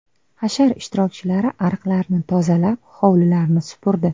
Hashar ishtirokchilari ariqlarni tozalab, hovlilarni supurdi.